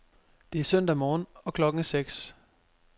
Det er søndag morgen, og klokken er seks.